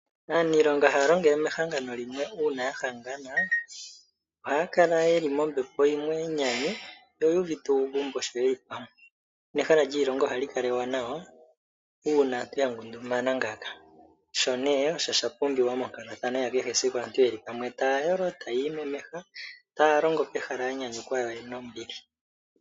Aaniilonga haya longele mehangano limwe uuna ya hangana, ohaya kala yeli mombepo yimwe yenyanyu no yu uvite uugumbo sho yeli pamwe nehala lyiilonga ohali kala ewanawa uuna ya ngundumana ngaaka sho nee osho sha pumbiwa monkalathano yakehesiku aantu yeli pamwe taya yolo, tayi imemeha taya longo pehala ya nyanyukwa yo yena ombili.